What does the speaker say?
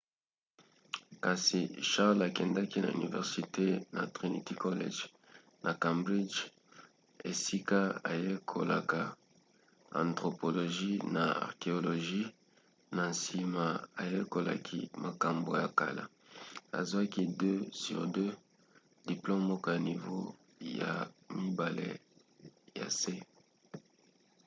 kasi charles akendaki na université na trinity college na cambridge esika ayekolaka anthropologie na archéologie na nsima ayekolaki makambo ya kala azwaki 2:2 diplome moko ya nivo ya mibale ya se